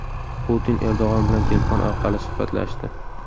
Putin Erdo‘g‘on bilan telefon orqali suhbatlashdi.